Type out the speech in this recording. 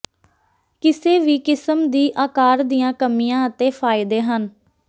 ਕਿਸੇ ਵੀ ਕਿਸਮ ਦੀ ਆਕਾਰ ਦੀਆਂ ਕਮੀਆਂ ਅਤੇ ਫਾਇਦੇ ਹਨ